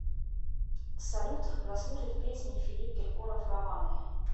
салют прослушать песни филипп киркоров романы